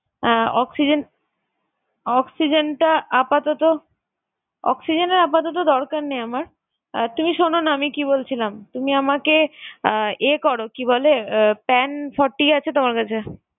আহ oxygen, oxygen টা আপাতত oxygen এর আপাতত দরকার নেই আমার। আহ তুমি শোন না আমি কি বলছিলাম, আহ তুমি আমাকে আহ ইয়ে করো কি বলে আহ pan forty আছে তোমার কাছে?